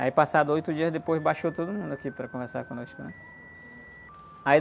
Aí passados oito dias depois, baixou todo mundo aqui para conversar conosco.